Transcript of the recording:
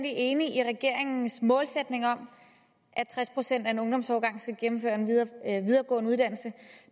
enig i regeringens målsætning om at tres procent af en ungdomsårgang skal gennemføre en videregående uddannelse